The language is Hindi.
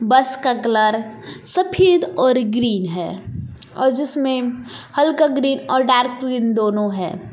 बस का कलर सफेद और ग्रीन है और जिसमें हल्का ग्रीन और डार्क ग्रीन दोनों है।